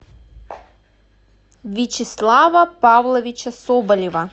вячеслава павловича соболева